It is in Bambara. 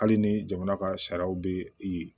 Hali ni jamana ka sariyaw bɛ i